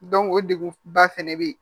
o degun ba fɛnɛ be yen